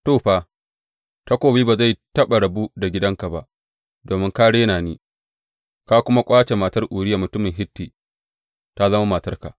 To, fa, takobi ba zai taɓa rabu da gidanka ba, domin ka rena ni, ka kuma ƙwace matar Uriya mutumin Hitti ta zama matarka.’